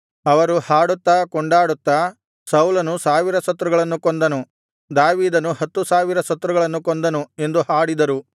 ಅವರು ಹಾಡುತ್ತಾ ಕೊಂಡಾಡುತ್ತಾ ಸೌಲನು ಸಾವಿರ ಶತ್ರುಗಳನ್ನು ಕೊಂದನು ದಾವೀದನು ಹತ್ತು ಸಾವಿರಾರು ಶತ್ರುಗಳನ್ನು ಕೊಂದನು ಎಂದು ಹಾಡಿದರು